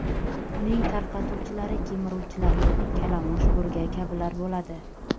Uning tarqatuvchilari kemiruvchilar – kalamush, burga kabilar bo‘ladi.